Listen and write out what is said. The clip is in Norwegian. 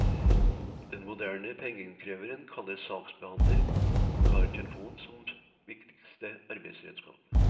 Den moderne pengeinnkreveren kalles saksbehandler og har telefonen som viktigste arbeidsredskap.